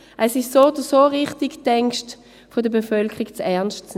Es ist so oder so richtig, die Ängste der Bevölkerung ernst zu nehmen.